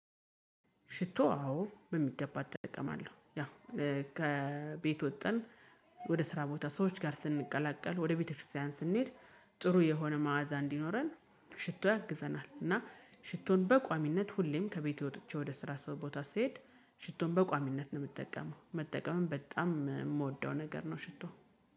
ሽቶ አዎ በሚገባ እጠቀማለሁ ያው ከቤት ወጥተን ወደ ስራ ቦታ ሰዎች ጋር ስንቀላቀል ወደ ቤተክርስቲያን ስንሄድ ጥሩ የሆነ ማዕዛ እንዲኖረን ሽቶ ያግዘናል። እና ሽቶን በቋሚነት ሁሌም ከቤቴ ወጥቼ ወደ ስራ ሰው ቦታ ስሄድ ሽቶን በቋሚነት ነው የምጠቀመው መጠቀምም በጣም የምወደው ነገር ነው። ሽቶ